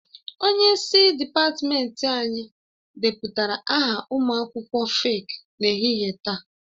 Onye isi dịpatmenti anyị depụtara aha ụmụ akwụkwọ feeki n'ehihie taa